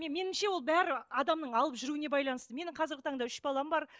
меніңше ол бәрі адамның алып жүруіне байланысты менің қазіргі таңда үш балам бар